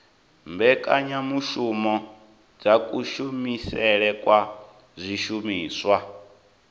mbekanyamushumo dza kushumisele kwa zwishumiswa